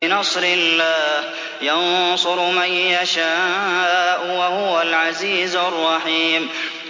بِنَصْرِ اللَّهِ ۚ يَنصُرُ مَن يَشَاءُ ۖ وَهُوَ الْعَزِيزُ الرَّحِيمُ